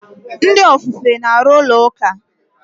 Ndị ofufe na-arụ ụlọ ụka.